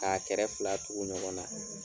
K'a kɛra fila tugu ɲɔgɔn na